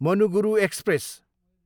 Manuguru express